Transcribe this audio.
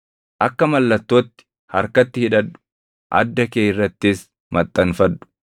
Akka mallattootti harkatti hidhadhu; adda kee irrattis maxxanfadhu.